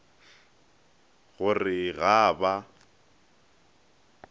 go re ga a ba